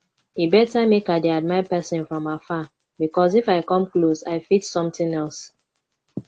e better make i dey admire person from afar because if i come close i fit something else